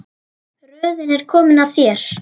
Röðin er komin að þér.